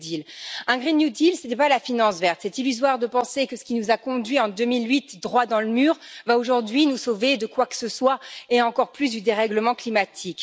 Le ce n'est pas la finance verte. Il est illusoire de penser que ce qui nous a conduit, en 2008, droit dans le mur, va aujourd'hui nous sauver de quoi que ce soit, et encore moins du dérèglement climatique.